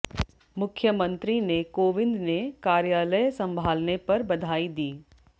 मुख्यमंत्री ने कोविंद ने कार्यालय संभालने पर बधाई दी